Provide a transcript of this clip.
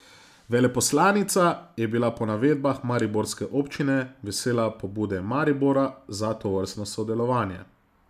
Veleposlanica je bila po navedbah mariborske občine vesela pobude Maribora za tovrstno sodelovanje.